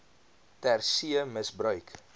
ter see misbruik